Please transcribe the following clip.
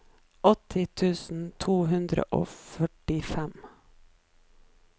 åtti tusen to hundre og førtifem